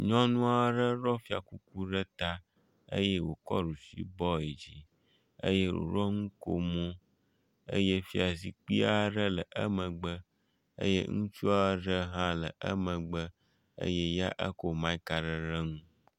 Nyɔnua ɖe ɖɔ fiakuku ɖe ta eye wòkɔ ɖusibɔ yi dzi eye wòɖɔ ŋukomo eye fiazikpui aɖe le emegbe eye ŋutsua ɖe hã le emegbe eye ya ekɔ mike a ɖe ɖe nu.